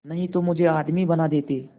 नहीं तो मुझे आदमी बना देते